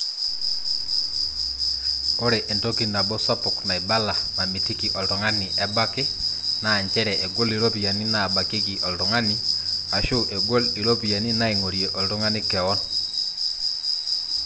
ore entoki nabo sapuk naibala namitiki oltung'ani ebaki naa njere egol iropiyiani naabakieki oltung'ani aashu egol iropiyiani naaing'orie oltung'ani kewon